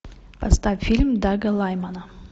поставь фильм дага лаймана